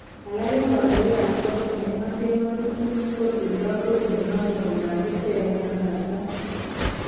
Alak eng kondoik kap kot nekingoten ngotutik kosuldo kodi noton komatketeb eng kasarta.